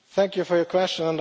Thank you for your question.